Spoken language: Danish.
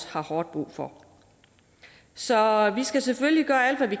har hårdt brug for så vi skal selvfølgelig gøre alt hvad vi